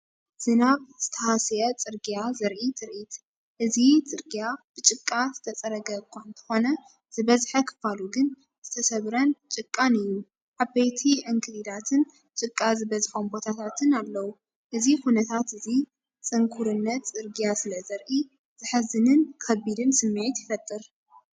ዝናብ ዝተሃስየ ጽርግያ ዘርኢ ትርኢት። እቲ ጽርግያ ብጭቃ ዝተጸረገ እኳ እንተኾነ፡ ዝበዝሐ ክፋሉ ግን ዝተሰብረን ጭቃን እዩ። ዓበይቲ ዕንክሊላትን ጭቃ ዝበዝሖም ቦታታትን ኣለዉ። እዚ ኩነታት እዚ፡ ጽንኩርነት ጽርግያ ስለዘርኢ፡ ዘሕዝንን ከቢድን ስምዒት ይፈጥር።